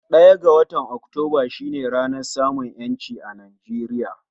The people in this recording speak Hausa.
Ɗaya ga watan Oktumba shi ne ranar samun 'yanci Nijeriya